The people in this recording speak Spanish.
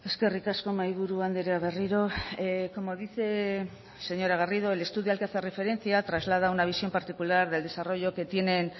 eskerrik asko mahaiburu andrea berriro como dice señora garrido el estudio al que hace referencia traslada una visión particular del desarrollo que tienen